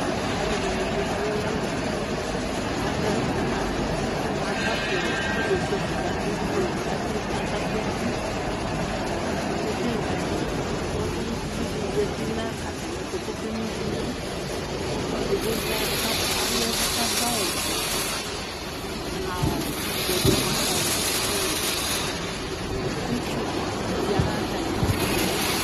Alʋ ɛdini dʋ ɔlʋnali azɛ sɔfi kʋ aka kʋ eti kʋ ʋlʋvidi zati nʋ atami ɛtʋ kʋboke no iviwʋ ɛdini ya ɛvʋ kʋ adʋ awʋvɛ itsʋ yanʋ atami ɛtʋ